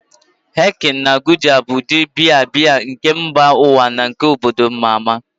Heineken na Gulder bụ ụdị biya biya nke mba ụwa na nke obodo ama ama.